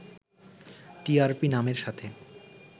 TRP নামের সাথে